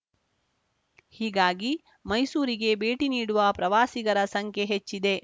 ಹೀಗಾಗಿ ಮೈಸೂರಿಗೆ ಭೇಟಿ ನೀಡುವ ಪ್ರವಾಸಿಗರ ಸಂಖ್ಯೆ ಹೆಚ್ಚಿದೆ